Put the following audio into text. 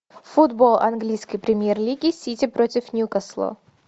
футбол английской премьер лиги сити против ньюкасла